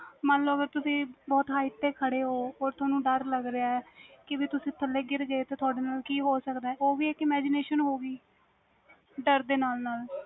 ਹਾਜੀ ਹਾਜੀ